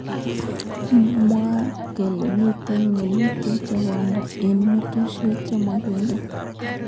Mwaat kele mitei ngalutik chemondoi eng. mastunwek chemakingen.